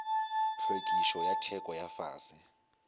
hlwekišo ya theko ya fase